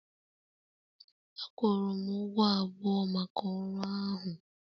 A kwụrụ m ụgwọ abụọ maka ọrụ ahụ